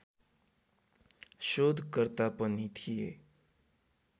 शोधकर्ता पनि थिए